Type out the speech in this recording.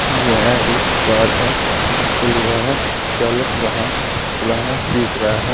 यह एक कार है जिस पे लिखा है चालक वाहन चलाना सीख रहा है।